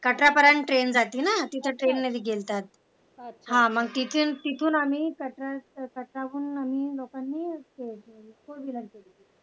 कटरा पर्यंत ट्रेन जाते ना तिथं ट्रेन ने गेलेलो हा मग तिथून आम्ही कटाराहुन आम्ही लोकांनी Fourwheeler केली